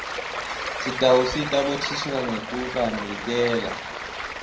sitawusita bothishela ngekubanikela